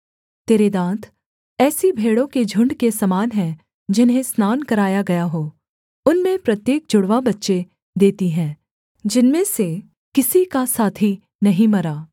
तेरे दाँत ऐसी भेड़ों के झुण्ड के समान हैं जिन्हें स्नान कराया गया हो उनमें प्रत्येक जुड़वाँ बच्चे देती हैं जिनमें से किसी का साथी नहीं मरा